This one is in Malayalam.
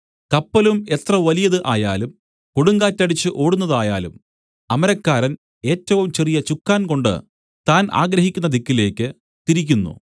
കപ്പലും എത്ര വലിയത് ആയാലും കൊടുങ്കാറ്റടിച്ച് ഓടുന്നതായാലും അമരക്കാരൻ ഏറ്റവും ചെറിയ ചുക്കാൻ കൊണ്ട് താൻ ആഗ്രഹിക്കുന്ന ദിക്കിലേക്ക് തിരിക്കുന്നു